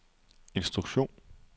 instruktion